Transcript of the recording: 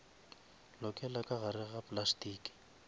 lokela ka gare ga plastiki